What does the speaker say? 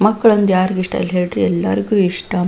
ಮಕ್ಕಳಂದ್ರೆ ಯಾರಿಗ್ ಇಷ್ಟ ಇಲ್ಲ ಹೇಳ್ರಿ ಎಲ್ಲರಿಗು ಇಷ್ಟ.